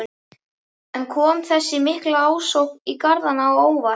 En kom þessi mikla ásókn í garðana á óvart?